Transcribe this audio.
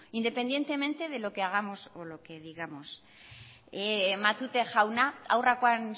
independientemente de lo que hagamos o digamos matute jauna aurrekoan